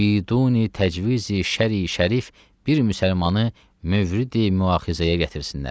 biduni təcvizi şərii şərif bir müsəlmanı mövridi müaxizəyə gətirsinlər.